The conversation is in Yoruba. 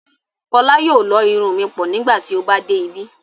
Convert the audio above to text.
Fọla yóò lọ́ irun mi pọ̀ nígbà tí ó bá dé ibí.